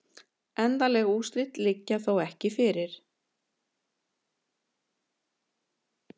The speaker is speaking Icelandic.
Endanleg úrslit liggja þó ekki fyrir